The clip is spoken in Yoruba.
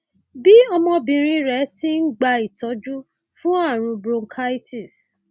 bí ọmọbìnrin rẹ ti ń gba ìtọjú fún ààrùn bronchitis